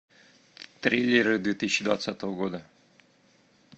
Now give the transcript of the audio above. триллеры две тысячи двадцатого года